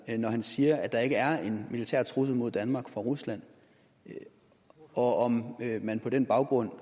når han siger at der ikke er en militær trussel mod danmark fra rusland og om man på den baggrund